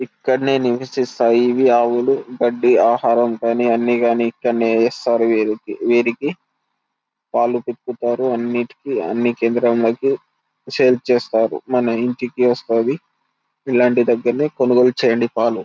ఇక్కడనే నివసిస్తాయి ఇవి ఆవుల గడ్డి ఆహారం కానీ అన్ని కానీ ఇక్కడనే వేస్తారు వీరికి వీరికి పాలు పితుకుతారు అన్ని కేంద్రంలోకి సేల్ చేస్తారు మన ఇంటికి వస్తది. ఇలాంటి దగ్గరనే కొనుగోలు చేయండి పాలు.